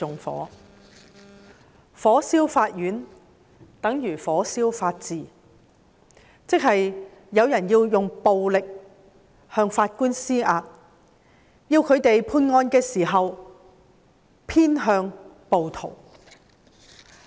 火燒法院，等如火燒法治，即是有人要用暴力向法院施壓，要法官在判案時偏向暴徒。